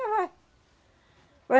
Já vai.